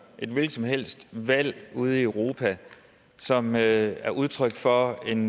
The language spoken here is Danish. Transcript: et hvilket som helst valg ude i europa som er udtryk for en